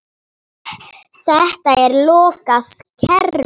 Þetta er lokað kerfi.